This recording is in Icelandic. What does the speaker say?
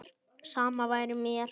Sama væri mér.